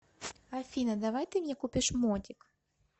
афина давай ты мне купишь мотик